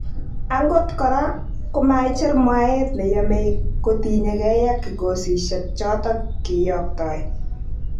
angot koraa komaicher mwaet neyome kotinygei ak kikosisyek chotok kiyoktoi.